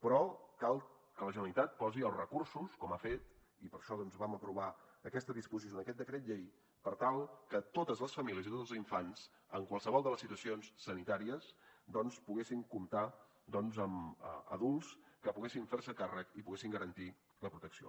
però cal que la generalitat posi els recursos com ha fet i per això vam aprovar aquesta disposició en aquest decret llei per tal que totes les famílies i tots els infants en qualsevol de les situacions sanitàries poguessin comptar amb adults que poguessin fer se’n càrrec i poguessin garantir la protecció